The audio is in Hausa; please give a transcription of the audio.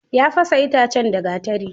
Ya fasa itacen da gatari.